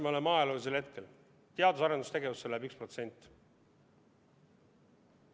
Me elame ajaloolisel hetkel: teadus- ja arendustegevusse läheb 1%.